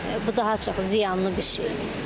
bu daha çox ziyanlı bir şeydir.